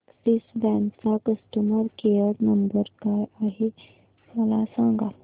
Axis bank चा customer care number काय आहे मला सांगा